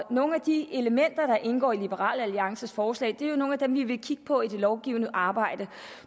nogle af de elementer der indgår i liberal alliances forslag er jo nogle af dem vi vil kigge på i det lovgivende arbejde